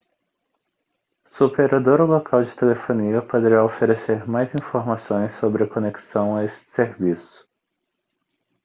sua operadora local de telefonia poderá oferecer mais informações sobre a conexão a esse serviço